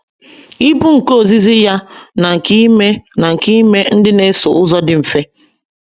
Ibu nke ozizi ya na nke ime na nke ime ndị na - eso ụzọ dị mfe.